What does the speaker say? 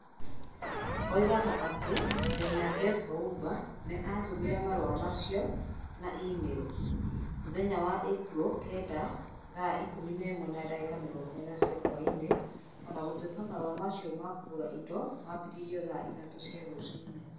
Oigaga atĩ China Gezhouba nĩ aatũmire marũa macio na e-mailo. Mũthenya wa Ĩpuro 9 thaa 5.40 cia hwaĩ-inĩ .O na gũtuĩka marũa macio ma kũgũra indo maambĩrĩirio thaa 9.00 cia rũcinĩ .